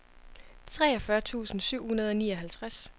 treogfyrre tusind syv hundrede og nioghalvtreds